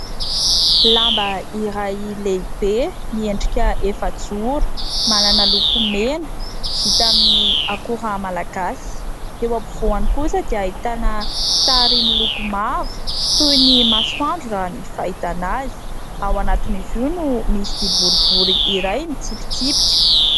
Lamba iray lehibe miendrika efajoro, manana loko mena vita amin'ny akora malagasy. Eo ampovoany kosa dia ahitana sary miloko mavo toy ny masoandro raha ny fahitana azy ; ao anatin'izy io no misy boribory iray mitsipitsipika.